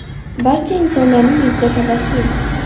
Barcha insonlarning yuzida tabassum.